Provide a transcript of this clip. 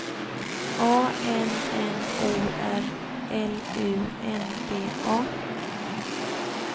A N N O R L U N D A